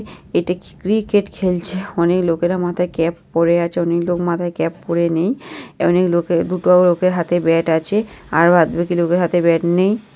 এটা কি ক্রিকেট খেলছে অনেক লোকেরা মাথায় ক্যাপ পরে আছে অনেক মাথায় ক্যাপ পরে নেই অনেক লোকের দুটো লোকের হাতে ব্যাট আছে আর বাদ বাকি লোকের হাতে ব্যাট নেই ।